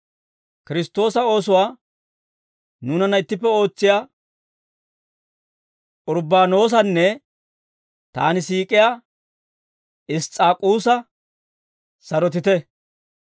Kiristtoosa oosuwaa nuunanna ittippe ootsiyaa Urbbaanoosanne taani siik'iyaa Iss's'aakusa sarotite.